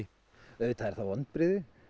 auðvitað eru það vonbrigði